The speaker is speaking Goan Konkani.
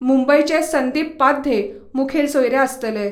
मुंबयचे संदीप पाध्ये मुखेल सोयरे आसतले.